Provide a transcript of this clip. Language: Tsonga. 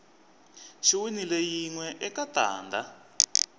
xi winile yinwe eka tanda